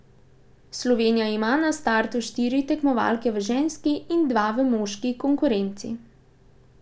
Slovenija ima na startu štiri tekmovalke v ženski in dva v moški konkurenci.